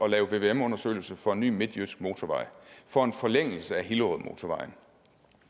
at lave vvm undersøgelser for en ny midtjysk motorvej for en forlængelse af hillerødmotorvejen